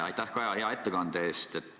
Aitäh, Kaja, hea ettekande eest!